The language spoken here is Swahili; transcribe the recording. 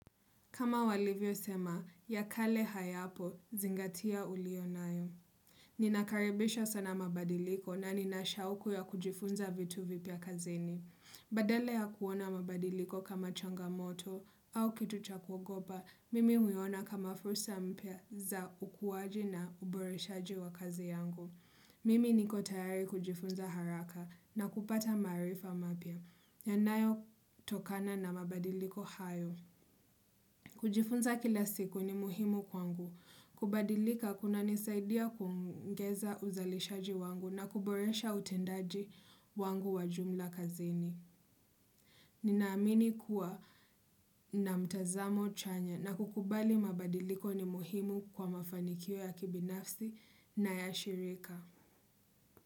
Kama walivyo sema, ya kale hayapo, zingatia ulio nayo. Ninakaribisha sana mabadiliko na ninashauku ya kujifunza vitu vipya kazini. Badala ya kuona mabadiliko kama changamoto au kitu cha kugopa, mimi huyona kama fursa mpya za ukuwaji na uboreshaji wa kazi yangu. Mimi niko tayari kujifunza haraka na kupata marifa mapya. Yanayo tokana na mabadiliko hayo. Kujifunza kila siku ni muhimu kwangu. Kubadilika kuna nisaidia kumgeza uzalishaji wangu na kuboresha utendaji wangu wajumla kazini. Ninaamini kuwa na mtazamo chanya na kukubali mabadiliko ni muhimu kwa mafanikio ya kibinafsi na ya shirika.